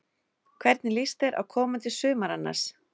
Hvernig líst þér á komandi sumar annars?